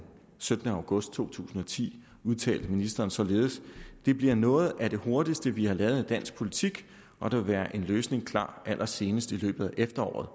syttende august to tusind og ti udtalte ministeren således det bliver noget af det hurtigste vi har lavet i dansk politik og der vil være en løsning klar allersenest i løbet af efteråret